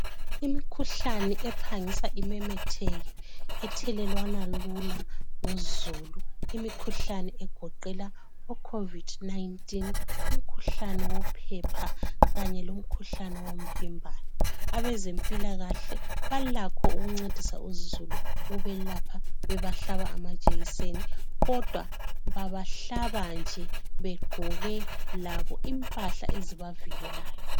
Imkhuhlani ephangisa imemetheke ethelelwana lula nguzulu, imikhuhlani egoqela oCOVID 19 , umkhuhlani wophepha kanye lomkhuhlane womvimbano. Abezempilakahle balakho ukuncedisa uzulu ukubelapha bebahlaba amajekiseni kodwa babahlaba nje begqoke labo impahla ezibavikelayo.